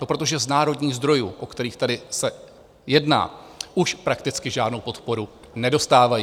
No, protože z národních zdrojů, o kterých se tady jedná, už prakticky žádnou podporu nedostávají.